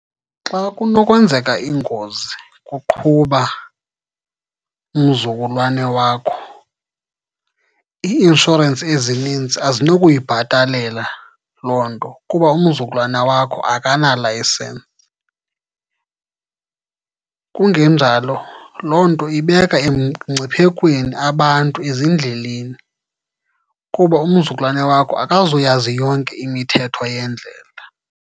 Xa kunokwenzeka ingozi kuqhuba umzukulwane wakho ii-inshorensi ezininzi azinokuyibhatalela loo nto, kuba umzukulwana wakho akana-license. Kungenjalo loo nto ibeka emngciphekweni abantu ezindleleni, kuba umzukulwane wakho akazuyazi yonke imithetho yendlela.